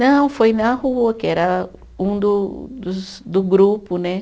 Não, foi na rua, que era um do dos do grupo, né?